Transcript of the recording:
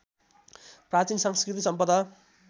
प्राचीन साँस्कृतिक सम्पदा